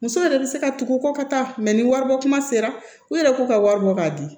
Muso yɛrɛ bɛ se ka tugu kɔ ka taa ni waribɔ kuma sera u yɛrɛ k'u ka wari bɔ k'a di